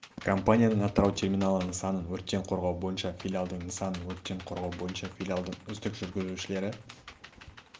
компаниясының атырау терминалы нысанын өрттен қорғау бойынша филиалдың нысанын өрттен қорғау бойынша филиалдың үздік жүргізушілері